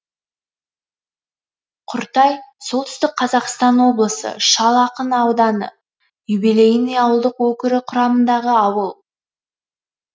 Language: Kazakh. құртай солтүстік қазақстан облысы шал ақын ауданы юбилейный ауылдық округі құрамындағы ауыл